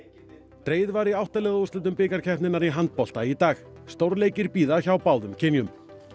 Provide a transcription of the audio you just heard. dregið var í átta liða úrslitum bikarkeppninnar í handbolta í dag stórleikir bíða hjá báðum kynjum